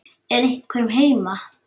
Er einhver heima?